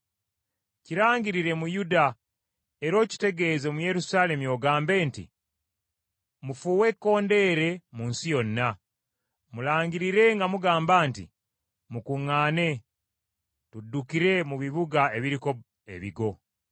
“Kirangirire mu Yuda era okitegeeze mu Yerusaalemi ogambe nti, ‘Mufuuwe ekkondeere mu nsi yonna! Mulangirire nga mugamba nti, Mukuŋŋaane, tuddukire mu bibuga ebiriko ebigo!’